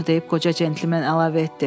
Bunu deyib qoca cəntlimən əlavə etdi.